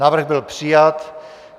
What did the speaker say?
Návrh byl přijat.